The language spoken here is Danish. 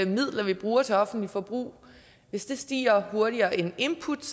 midler vi bruger til offentligt forbrug stiger hurtigere end input